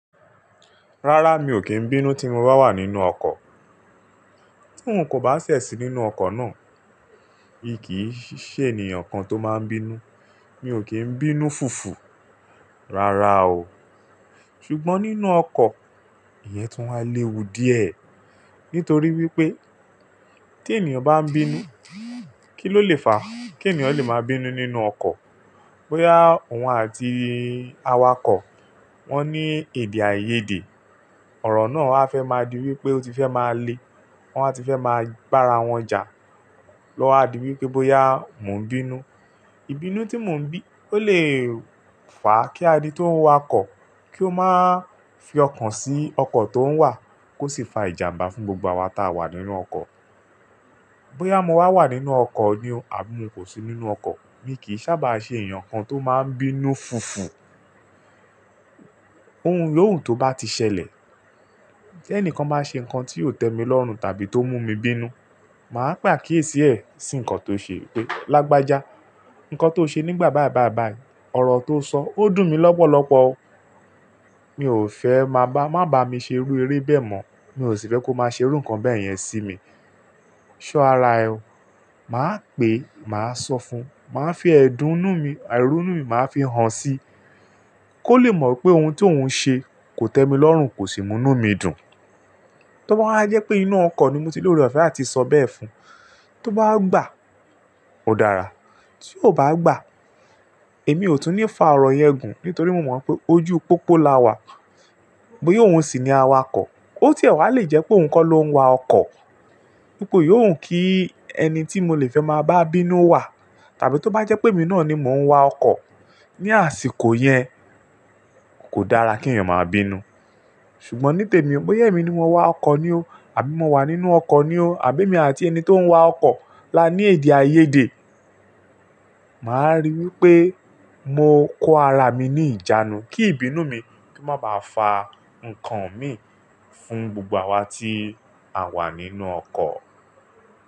Rárá, mi ò kí ń bínú tí mo bá wà nínú ọkọ̀. Tí un kò bá ṣẹ̀ si nínú ọkọ̀ náà, mi kì í ṣe ènìyàn kan tó máa ń bínú. Mi ò kí ń bínú fùfù rárá o. Ṣùgbọ́n nínú ọkọ̀, ìyẹn tún wá lewu díẹ̀. Nítorí wípé tí ènìyàn bá ń bínú, kí ló lè fà á? Kí ènìyàn lè máa bínú nínú ọkọ̀? Bö́yá òun àti awakọ̀, wón ní ède áìyèdè. Ọ̀rọ̀ náà a fẹ́ máa di wípé ó ti fẹ́ máa le, wọ́n wa ti fẹ́ máa bára wọn jà. Lọ́wa di wípé bóyá mò ń bínú, ìbínú tí mò ń bí ó lè fà kí adi tóhun wakọ̀ kí ó máa fi ọkàn sí ọkọ̀ tó ń wà kó sì fa ìjàmbá fún gbogbo awa taa wà nínú ọkọ̀. Bö́yá mo wà wà nínú ọkọ̀ ni o àbí mo kò sí nínú ọkọ̀, mi kì í sábà ṣe ènìyàn kan tó máa ń bínú fùfù. Ohun yo wu tó bá ti ṣẹlẹ̀, tí ẹnìkan bá ṣe nǹkan tí ò tẹ́mi lọ́run tàbí tó mú mi bínú, màá pe akíyèsí ẹ sí nǹkan tó ṣe wípé, "Lágbájá, ǹkan tó ṣe nígbà báì báì báì, ọ̀rọ̀ tó sọ, ó dùn mí lọ́pọ̀lọ́pọ̀ o. Mi ò fẹ́ máa bá, má ba mi ṣe irú eré bẹ́ẹ̀ mọ̀. Mi ò sì fẹ́ kó má ṣe irú ǹkan bẹ́ẹ̀ yẹn sí mi. So ara ẹ o." Màá pè é, màá sọ fún un, màá fi ẹ̀dun nú mi, àìró nú mi màá fi hàn si kó lè mọ̀ wípé ohun tí òun ń ṣe kò tẹ́mi lọ́run kò sì mú inú mi dùn. Tó bá wá jẹ́ pé inú ọkọ̀ ni mo ti lóore ofe atí sọ bẹ́ẹ̀ fún un. Tó bá gbà, ó dára, tí ó bá gbà, èmi ò tún ní fà ọ̀rọ̀ yẹn gùn nítorí mo mọ̀ pé ojú pópó la wà. Bóyá òun sì ni awakọ̀, ó tiẹ wá lè jẹ́ pé òun kọ́ ló ń wa ọkọ̀. Ípo yóò wu kí ẹni tí mo lè fẹ́ máa bá bínú wà tàbí tó bá jẹ́ pé èmi náà ni mò ń wa ọkọ̀, ní àsìkò yẹn kò dára kí èeyàn máa bínú. Ṣùgbọ́n ní tèmi, bóyá èmi ni mo wá ọkọ̀ ni o àbí mo wà nínú ọkọ̀ ni o àbí èmi àti ẹni tó ń wa ọkọ̀ la ní ède aìyèdè, màá rí wípé mo kó ara mi ní ìjánu kí ìbínú mi má bàá fà ǹkan mi fún gbogbo awa tí a wà nínú ọkọ̀.